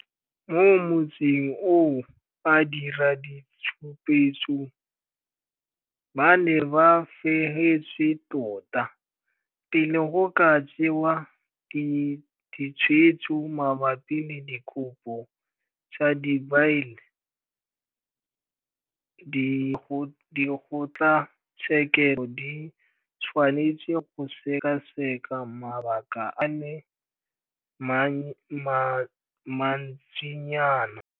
Mo motsing oo badiraditshupetso ba ne ba fegetswe tota. Pele go ka tsewa ditshwetso mabapi le dikopo tsa dibaile, dikgotlatshekelo di tshwanetse go sekaseka mabaka a le mantsinyana.